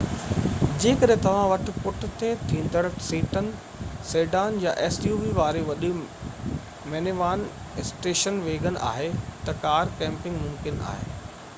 جيڪڏهن توهان وٽ پُٺتي ٿيندڙ سيٽن واري وڏي مينيوان suv سيڊان يا اسٽيشن ويگن آهي ته ڪار ڪيمپنگ ممڪن آهي